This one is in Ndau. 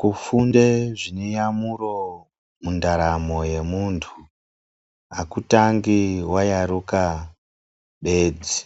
Kufunde zvineyamuro mundaramo yemuntu hakutangi wayaruka bedzi.